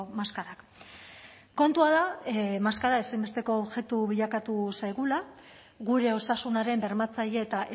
maskarak kontua da maskara ezinbesteko objektu bilakatu zaigula gure osasunaren bermatzaile eta